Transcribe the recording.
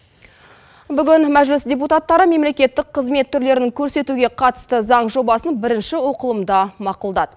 бүгін мәжіліс депутаттары мемлекеттік қызмет түрлерін көрсетуге қатысты заң жобасын бірінші оқылымда мақұлдады